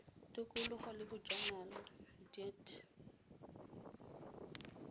tikologo le bojanala dea t